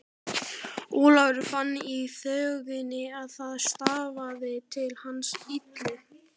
Ólafur fann í þögninni að það stafaði til hans illu.